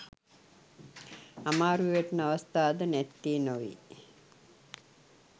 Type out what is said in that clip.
අමාරුවේ වැටෙන අවස්ථා ද නැත්තේ නොවේ.